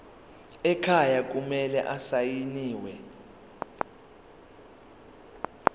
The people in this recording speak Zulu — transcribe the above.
ekhaya kumele asayiniwe